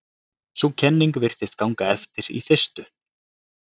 sú kenning virtist ganga eftir í fyrstu